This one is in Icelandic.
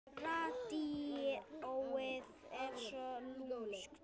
Radíóið er svo lúmskt.